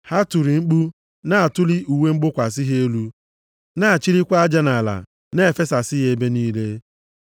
Ha tiri mkpu na-atụli uwe mgbokwasị ha elu, na-achilikwa aja nʼala na-efesasị ya ebe niile,